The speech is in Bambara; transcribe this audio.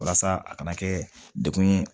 Walasa a kana kɛ dekun ye